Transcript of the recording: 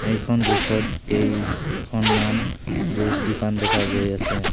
এখন দৃশ্যত কেইখনমান জুছ দোকান দেখা গৈ আছে।